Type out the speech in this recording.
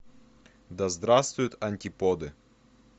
да здравствуют антиподы